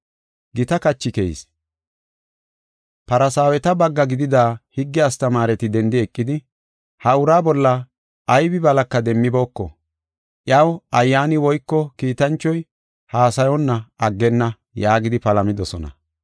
Gita kachi keyis; Farsaaweta bagga gidida higge astamaareti dendi eqidi, “Ha uraa bolla aybi balaka demmibooko; iyaw ayyaani woyko kiitanchoy haasayonna aggenna” yaagidi palamidosona.